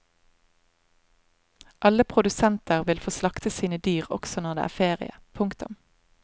Alle produsenter vil få slakta sine dyr også når det er ferie. punktum